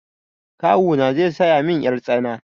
Kawuna zai saya min yar tsana.